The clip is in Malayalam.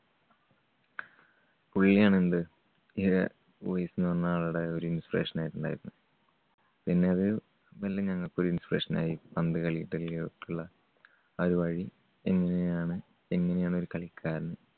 പുള്ളിയാണ് എന്ത് ഉവെെസ് എന്ന് പറഞ്ഞ ആളുടെ ഒരു inspiration ആയിട്ട് ഉണ്ടായിരുന്നത്. പിന്നെ അത് പിന്നെ ഞങ്ങൾക്കും ഒരു inspiration ആയി. പന്തുകളി എങ്ങനെയാണ്, എങ്ങനെയാണ് ഒരു കളിക്കാരൻ